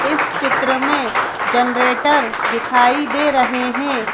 इस चित्र में जनरेटर दिखाई दे रहे हैं।